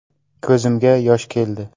Ko‘zimga yosh keldi.